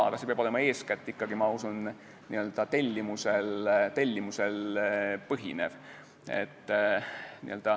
Aga see peab olema eeskätt ikkagi, ma usun, n-ö tellimusel põhinev.